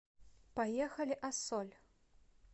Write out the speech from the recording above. поехали ассоль